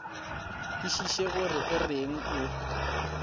kwešiše gore o reng o